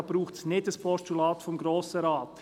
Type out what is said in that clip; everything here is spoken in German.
Da braucht es kein Postulat des Grossen Rates.